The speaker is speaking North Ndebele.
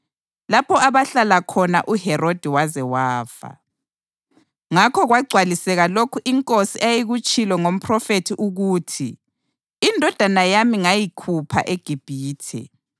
lapho abahlala khona uHerodi waze wafa. Ngakho kwagcwaliseka lokho iNkosi eyayikutshilo ngomphrofethi ukuthi, “Indodana yami ngayikhupha eGibhithe.” + 2.15 UHosiya 11.1